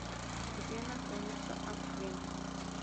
где находится аквин